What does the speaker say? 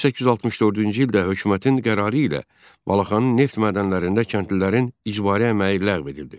1864-cü ildə hökumətin qərarı ilə Balaxanı neft mədənlərində kəndlilərin icbari əməyi ləğv edildi.